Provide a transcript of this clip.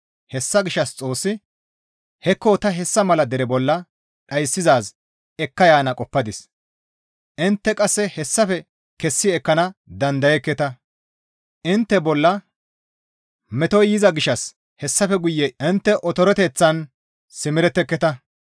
Hessa gishshas Xoossi, «Hekko ta hessa mala dere bolla dhayssizaaz ekka yaana qoppadis; intte qasse hessafe kessi ekkana dandayekketa; intte bolla metoy yiza gishshas hessafe guye intte otoreteththan simeretteketa.